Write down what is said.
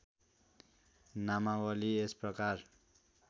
नामावली यस प्रकार